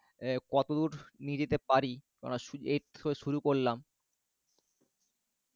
আহ কতদূর নিয়ে যেতে পারি, কেননা এই তো সবে শুরু করলাম